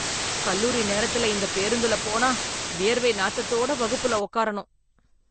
கல்லூரி நேரத்துல, இந்த பேருந்துல போனா, வியர்வை நாத்தத்தோட வகுப்புல உக்காரணும்....